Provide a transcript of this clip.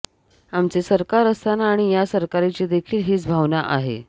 आमचे सरकार असताना आणि या सरकारचीदेखील हीच भावना आहे